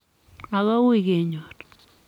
Ago uui kenyor"